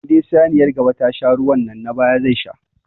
Inda saniyar gaba ta sha ruwa nan na baya zai sha.